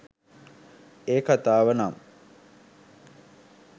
ඒක කතාව නම්